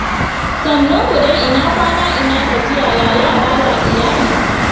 Sannunku dai, ina kwana? Ina gajiya? Ya yara, ya iyali?